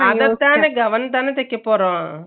gown தான தைக்க போறோம்